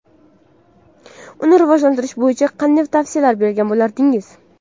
Uni rivojlantirish bo‘yicha qanday tavsiyalar bergan bo‘lardingiz?